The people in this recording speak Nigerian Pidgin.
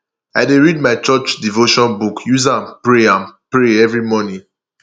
i dey read my church devotion book use am pray am pray every morning